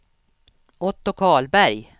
Otto Karlberg